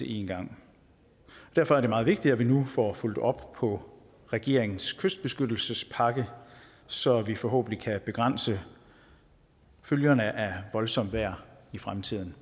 en gang derfor er det meget vigtigt at vi nu får fulgt op på regeringens kystbeskyttelsespakke så vi forhåbentlig kan begrænse følgerne af voldsomt vejr i fremtiden